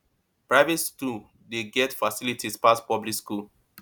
private stool dey get facilities pass public skool